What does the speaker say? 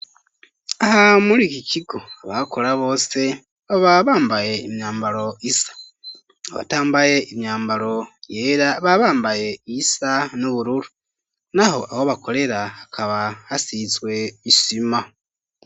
Aha muri iki kigo abakora bose baba bambaye imyambaro isa. abatambaye imyambaro yera, baba bambaye iyisa n'ubururu. Naho aho bakorera hakaba hasizwe isima.